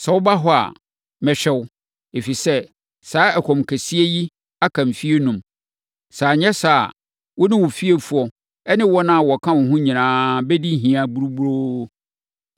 Sɛ woba hɔ a, mɛhwɛ wo, ɛfiri sɛ saa ɛkɔm kɛseɛ yi aka mfeɛ enum. Sɛ anyɛ saa a, wo ne wo fiefoɔ ne wɔn a wɔka wo ho nyinaa bɛdi hia buruburoo.’